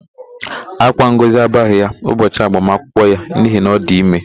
Ákwá Ngọzi abaghị ya ụbọchị agbamakwụkwọ ya n'ihi na ọ dị ime.